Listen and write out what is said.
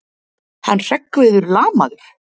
Hann Hreggviður lamaður!